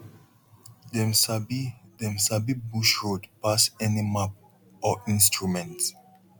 dem sabi dem sabi bush road pass any map or instrument